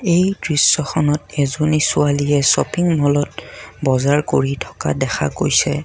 এই দৃশ্যখনত এজনী ছোৱালীয়ে শ্বপিং ম'লত বজাৰ কৰি থকা দেখা গৈছে।